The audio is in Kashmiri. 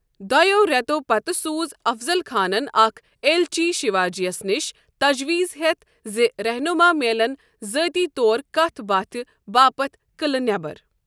دۄٮ۪و رٮ۪تو پتہٕ سوٗز افضل خانن اکھ ایلچی شیواجیَس نِش تجویز ہیتھ زِ رہنما میلن ذٲتی طور كتھ باتھہِ باپت قعلہٕ نیبر ۔